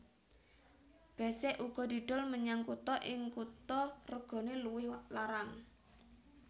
Besek uga didol menyang kutha ing kutha regane luwih larang